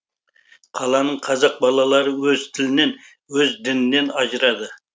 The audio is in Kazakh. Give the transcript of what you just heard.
қаланың қазақ балалары өз тілінен өз дінінен ажырады